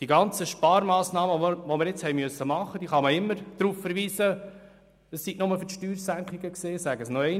Man kann immer sagen, dass die Sparmassnahmen, die wir jetzt haben vornehmen müssen, nur für die Steuersenkungen gewesen seien.